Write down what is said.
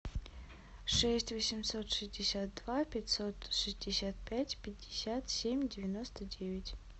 шесть восемьсот шестьдесят два пятьсот шестьдесят пять пятьдесят семь девяносто девять